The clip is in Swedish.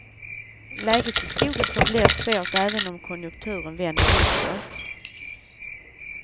Läget i skogen förblir svårt även om konjunkturen vänder uppåt.